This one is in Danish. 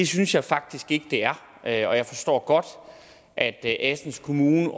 synes jeg faktisk ikke det er og jeg forstår godt at assens kommune